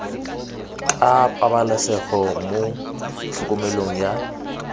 ka pabalesego mo tlhokomelong ya